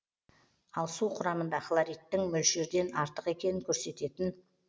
ал су құрамында хлоридтің мөлшерден артық екенін көрсететін